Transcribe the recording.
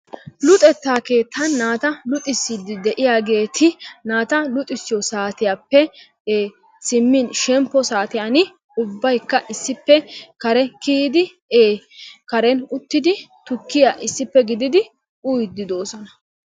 Luxettaa keettan naata luxisiidi de'iyaageti naata luxxisiyoo saatiyaappe e simmin shemppo saatiyaan ubbaykka issippe kare kiyiidi e karen uttidi tukkiyaa issippe giididi uyiidi doosona.